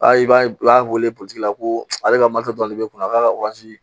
Aa i b'a ye u y'a weele la ko ale ka dɔrɔn de be kun a ka